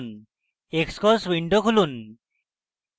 xcos window খুলুন